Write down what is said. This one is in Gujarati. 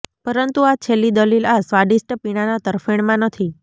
પરંતુ આ છેલ્લી દલીલ આ સ્વાદિષ્ટ પીણાના તરફેણમાં નથી